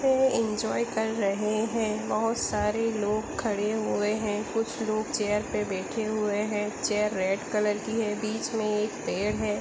वे enjoy कर रहें हैं बहुत सारे लोग खड़े हुए हैं कुछ लोग चेयर पे बैठे हुए हैं चेयर रेड कलर की है बीच में पेड़ एक है ।